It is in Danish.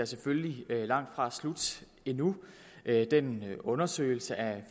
selvfølgelig langt fra slut endnu den undersøgelse af